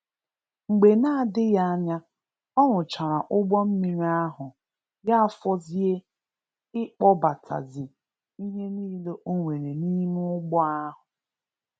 Mgbe na adịghị anya, ọ rụchara ụgbọ mmiri ahụ ya fọzie ị kpọbatazi ihe nile o nwere n'ime ụgbọ a.